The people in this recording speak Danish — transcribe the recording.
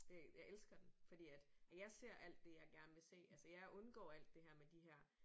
Det jeg elsker den fordi at at jeg ser alt det jeg gerne vil se altså jeg undgår alt det her med de her